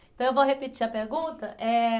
Então eu vou repetir a pergunta. Eh...